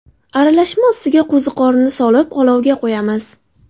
Aralashma ustiga qo‘ziqorinni solib olovga qo‘yamiz.